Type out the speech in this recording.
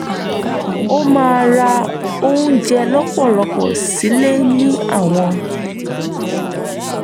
ó máa ra oúnjẹ lọ́pọ̀lọ́pọ̀ sílẹ̀ ní àwọn